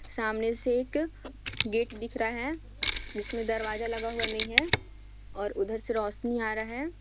सामने से एक गेट दिख रहा है जिसमें दरवाजा लगा हुआ नहीं है और उधर से रोशनी आ रहा है।